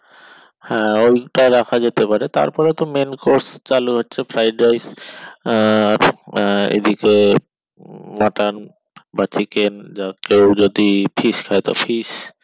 হ্যাঁ ঐটা রাখা যেতে পারে তারপরে তো main course চালু হচ্ছে fried rice আহ আহ এদিকে mutton বা chicken বা কেউ যদি fish খাই তো fish